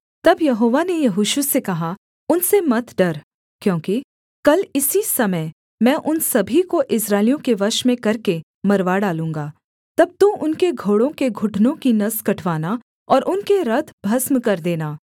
तब यहोवा ने यहोशू से कहा उनसे मत डर क्योंकि कल इसी समय मैं उन सभी को इस्राएलियों के वश में करके मरवा डालूँगा तब तू उनके घोड़ों के घुटनों की नस कटवाना और उनके रथ भस्म कर देना